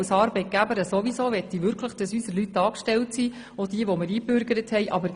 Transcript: Als Arbeitgeberin möchte ich ohnehin, dass unsere Leute angestellt sind, auch jene, die wir eingebürgert haben.